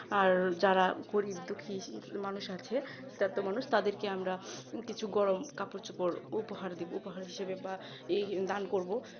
আর যারা গরীব-দুঃখী মানুষ আছে যত মানুষ তাদেরকে আমরা কিছু গরম কাপড় চোপড় উপহার দেব উপহার হিসেবে বা এই দান করব